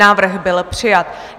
Návrh byl přijat.